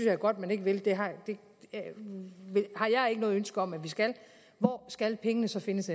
er godt man ikke vil det har jeg ikke noget ønske om at vi skal hvor skal pengene så findes